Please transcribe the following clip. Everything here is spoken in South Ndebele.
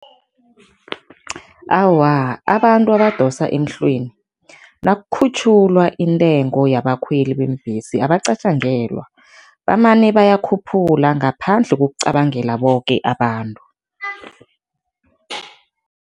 Awa, abantu abadosa emhlweni nakukhutjhulwa intengo yabakhweli beembhesi abacatjangelwa, bamane bayakhuphula ngaphandle kokucabangela boke abantu.